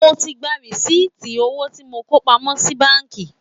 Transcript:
Mo ti gba rìsíìtì owó tí mo kó pamọ́ sí báànkì